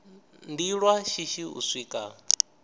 ndi lwa shishi u swika